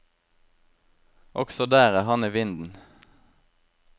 Også der er han i vinden.